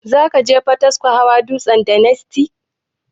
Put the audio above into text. Zakuje potiskum hawa dutsen daniski?